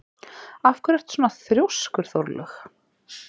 Af hverju ertu svona þrjóskur, Þórlaug?